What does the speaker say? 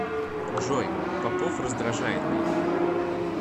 джой попов раздражает меня